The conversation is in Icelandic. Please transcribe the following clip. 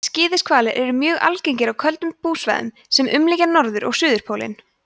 skíðishvalir eru mjög algengir á köldum búsvæðum sem umlykja norður og suðurpólinn